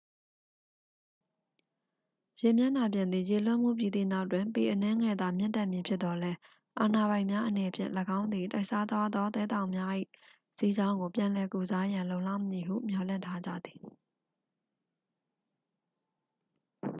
ရေမျက်နှာပြင်သည် ရေလွှမ်းမိုးပြီးသည့်နောက်တွင် ပေအနည်းငယ်သာ မြင့်တက်မည်ဖြစ်သော်လည်း အာဏာပိုင်များအနေဖြင့် ၎င်းသည် တိုက်စားသွားသော သဲသောင်များ၏ စီးကြောင်းကို ပြန်လည်ကုစားရန် လုံလောက်မည်ဟု မျှော်လင့်ထားကြသည်